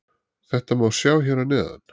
Þetta má sjá hér að neðan.